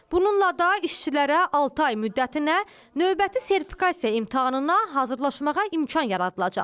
Bununla da işçilərə altı ay müddətinə növbəti sertifikasiya imtahanına hazırlaşmağa imkan yaradılacaq.